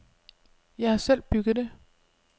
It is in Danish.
Jeg har selv bygget det.